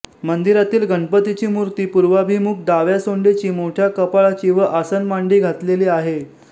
मंदिरातील गणपतीची मूर्ती पूर्वाभिमुख डाव्या सोंडेची मोठ्या कपाळाची व आसनमांडी घातलेली आहे